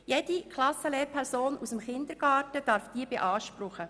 Jede Klassenlehrperson des Kindergartens darf diese beanspruchen.